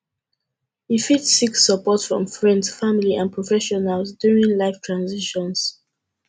you fit seek support from friends family and professionals during life transitions